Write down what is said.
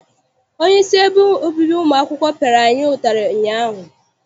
Onyeisi ebe obibi ụmụ akwụkwọ piara anyị ụtarị ụnyaahụ.